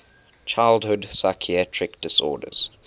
childhood psychiatric disorders